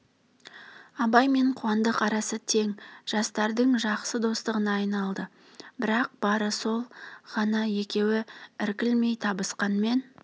абай мен қуандық арасы тең жастардың жақсы достығына айналды бірақ бары сол ғана екеуі іркілмей табысқанмен